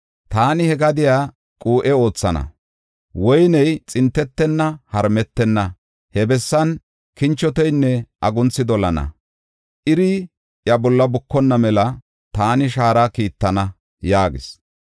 Taani he gadiya quu7e oothana; woyney xintetenna, harmetenna. He bessan kinchoteynne agunthi dolana; Iri iya bolla bukonna mela taani shaara kiittana” yaagis.